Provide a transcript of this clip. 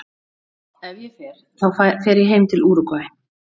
Ef ég fer þá fer ég heim til Úrúgvæ.